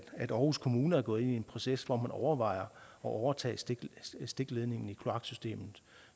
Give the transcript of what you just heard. at aarhus kommune er gået ind i en proces hvor man overvejer at overtage stikledningen i kloaksystemet